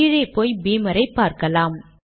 கீழே போய் பீமரை பார்க்கலாம்